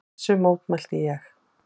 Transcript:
Þessu mótmælti ég.